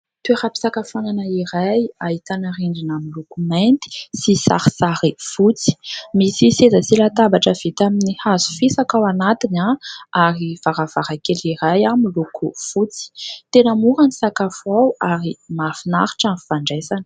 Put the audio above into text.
Toeram-pisakafoanana iray, ahitana rindrina miloko mainty sy sarisary fotsy ; misy seza sy latabatra vita amin'ny hazo fisaka ao anatiny ary varavarankely iray miloko fotsy. Tena mora ny sakafo ao ary mahafinaritra ny fandraisana.